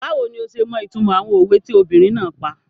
Báwo ni ọ ṣe mọ ìtumọ̀ àwọn òwe tí obìnrin náà pa?